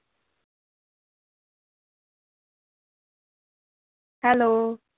Hello.